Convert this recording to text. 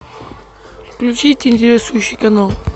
включить интересующий канал